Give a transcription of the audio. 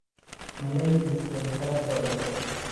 Malaydhid waykalakodhe.